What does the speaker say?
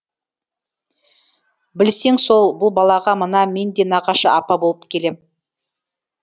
білсең сол бұл балаға мына мен де нағашы апа болып келем